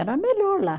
Era melhor lá.